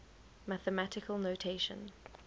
mathematical notation